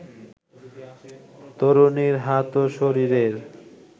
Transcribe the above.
তরুণীর হাত ও শরীরের